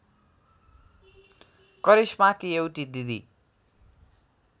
करिश्माकी एउटी दिदी